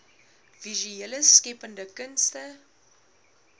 visuele skeppende kunste